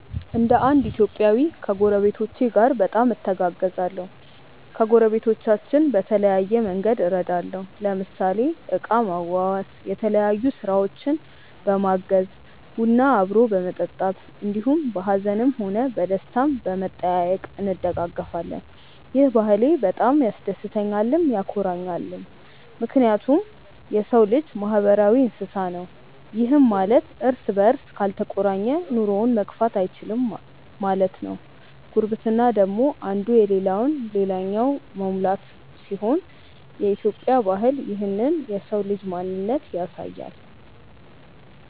እንደ እንድ ኢትዮጵያዊ ከጐረቤቶቼ ጋር በጣም እተጋገዛለሁ። ከጐረቤቶቻችን በተለያየ መንግድ እረዳለሁ ለምሳሌ እቃ ማዋዋስ፣ የተለያዮ ስራውችን በማገዝ፣ ቡና አብሮ በመጠጣት እንዲሁም በሀዝንም ሆነ በደስታም በመጠያዬቅ እንደጋገፋለን። ይህ ባህሌ በጣም ያስደስተኛልም ያኮራኛልም ምክንያቱም የሰው ልጅ ማህበራዊ እንስሳ ነው ይህም ማለት እርስ በርስ ካልተቆራኘ ኑሮውን መግፋት እይችልም ማለት ነው። ጉርብትና ደግሞ እንዱ የለለውን ልላኛው መሙላት ሲሆን የኢትዮጵያ ባህል ይህንን የሰው ልጅ ማንነት ያሳያል።